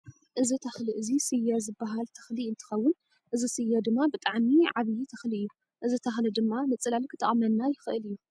እዚ ተክሊ እዚ ስየ ዝባሃል ተክሊ እንትከውን እዚ ስየ ድማ ብጣዕሚ ዓብይ ተክሊ እዩ። እዚ ተክሊ ድማ ንፅላል ክጠቅመና ይክእል እዩ።